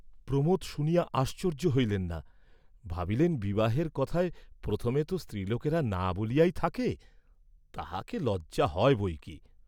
প্রমোদ শুনিয়া আশ্চর্য্য হইলেন না, ভাবিলেন বিবাহের কথায় প্রথমে তো স্ত্রীলোকেরা ‘না’ বলিয়াই থাকে, তাহাকে লজ্জা হয় বৈকি?